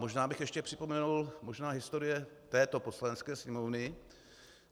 Možná bych ještě připomenul, možná historie této Poslanecké sněmovny.